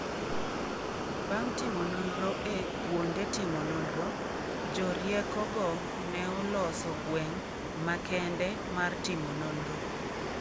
Bang' timo nonro e kuonde timo nonro, jo rieko go neoloso gweng' makende mar timo nonro